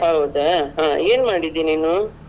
ಹೌದಾ ಹ ಏನ್ ಮಾಡಿದ್ದಿ ನೀನು?